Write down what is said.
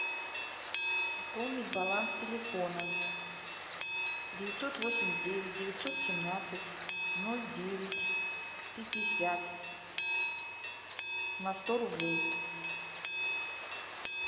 пополнить баланс телефона девятьсот восемьдесят девять девятьсот семнадцать ноль девять пятьдесят на сто рублей